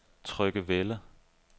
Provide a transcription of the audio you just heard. Tryggevælde